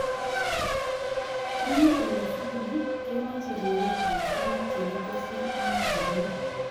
Eng olesigini kemoch ribetab tuguk chekitesyi eng chobet